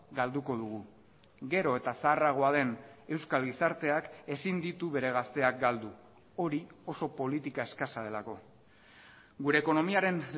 galduko dugu gero eta zaharragoa den euskal gizarteak ezin ditu bere gazteak galdu hori oso politika eskasa delako gure ekonomiaren